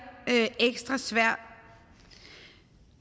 ekstra svær